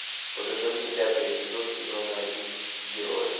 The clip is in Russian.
покажи мне пятый эпизод сезона один герои